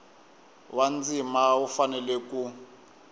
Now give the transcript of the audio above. wa ndzima wu fanele ku